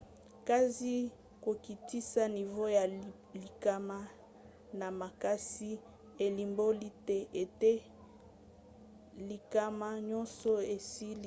kasi kokitisa nivo ya likama na makasi elimboli te ete likama nyonso esili.